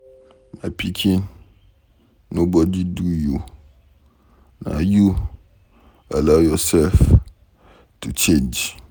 My pikin nobody do you. Na you allow yourself to change